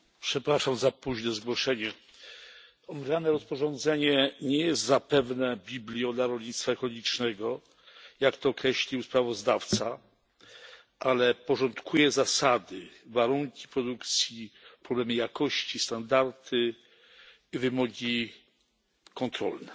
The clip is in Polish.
Panie Prezydencie, Przepraszam za późne zgłoszenie. Omawiane rozporządzenie nie jest zapewne biblią dla rolnictwa ekologicznego, jak to określił sprawozdawca, ale porządkuje zasady, warunki produkcji, problemy jakości, standardy i wymogi kontrolne.